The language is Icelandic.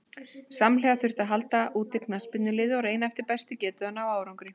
Samhliða þurfti að halda úti knattspyrnuliði og reyna eftir bestu getu að ná árangri.